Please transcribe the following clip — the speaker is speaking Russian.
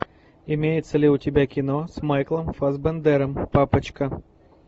имеется ли у тебя кино с майклом фассбендером папочка